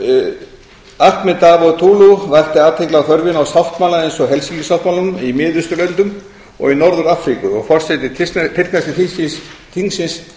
ahmet davutolu vakti athygli á þörfinni á sáttmála eins og helsinki sáttmálanum í miðausturlöndum og í norður afríku og forseti tyrkneska þingsins